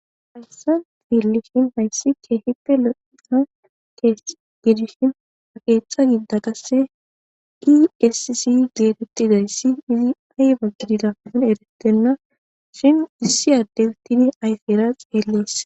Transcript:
hayssan fiillishin hayssi keehippe lo7ina kee bidishin aqeeththa gida qasse iqesisi geetettidayssi izi ayba gididapon erettenna shin issi addestidi ayfeera xeelleess